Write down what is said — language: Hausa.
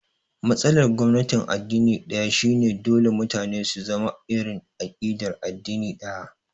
Matsalar gwamnatin addini ɗaya shi ne dole mutane su zama da irin aƙidar addini ɗaya